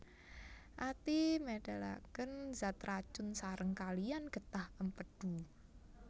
Ati médhalakén zat racun saréng kaliyan gétah Émpédu